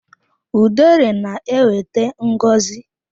Udere na-ewete ngọzi.